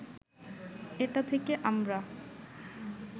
এটা থেকে আমরা